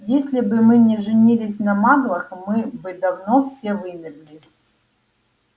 если бы мы не женились на маглах мы бы давно все вымерли